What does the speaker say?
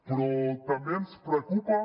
però també ens preocupa